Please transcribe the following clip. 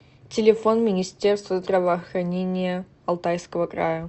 телефон министерство здравоохранения алтайского края